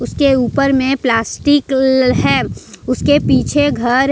इसके ऊपर में प्लास्टिक ल है उसके पीछे घर --